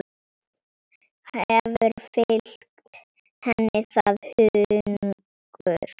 Hefur fylgt henni það hungur.